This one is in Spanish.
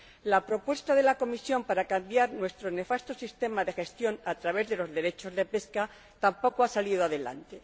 La propuesta de la Comisión para cambiar nuestro nefasto sistema de gestión a través de los derechos de pesca tampoco ha salido adelante.